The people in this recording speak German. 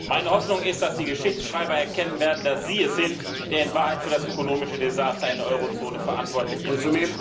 Meine Hoffnung ist, dass die Geschichtsschreiber erkennen werden, dass Sie es sind, der in Wahrheit für das ökonomische Desaster im Euro Währungsgebiet verantwortlich ist.